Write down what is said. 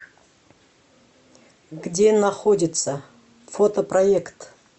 где находится фотопроект